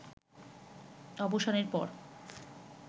অবসানের পর